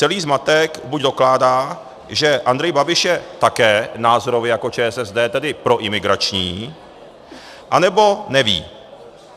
Celý zmatek buď dokládá, že Andrej Babiš je také názorově jako ČSSD, tedy proimigrační, anebo neví.